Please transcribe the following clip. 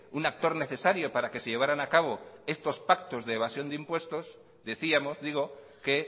un actor necesario para que se llevaran a cabo estos pactos de evasión de impuestos decíamos digo que